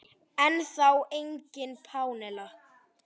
Ennþá engin Pamela.